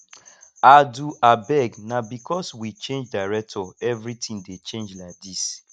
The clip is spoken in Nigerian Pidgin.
adu abeg na because we change director everything dey change like dis